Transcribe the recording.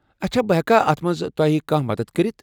اچھا۔ بہٕ ہٮ۪کا اتھ منٛز تۄہہ کانٛہہ مدتھ کٔرتھ؟